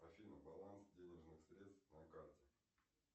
афина баланс денежных средств на карте